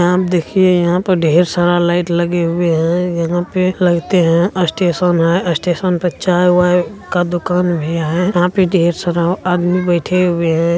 यहाँ आप देखिये यहाँ पर ढेर सारा लाइट लगे हुए हैं| यहाँ पे लगते हैं स्टेशन है | स्टेशन पे चाय-वाई का दूकान भी है| यहाँ पे ढेर सारा आदमी बैठे हुए हैं।